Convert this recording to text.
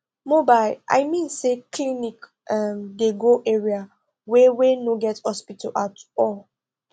mobile i mean say clinic um dey go area wey wey no get hospital at all